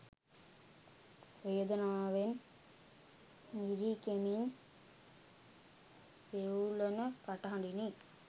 වේදනාවෙන් මිරිකෙමින් වෙව්ලන කටහඬිනි